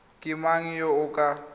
ke mang yo o ka